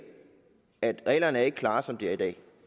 at reglerne ikke er klare som de er i dag